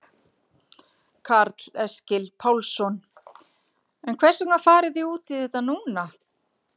Karl Eskil Pálsson: En hvers vegna farið þið út í þetta núna?